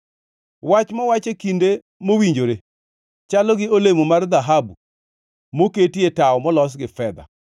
Wach mowach e kinde mowinjore, chalo gi olemo mar dhahabu moketie tawo molos gi fedha.